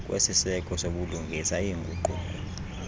kwesiseko sobulungisa iinguquko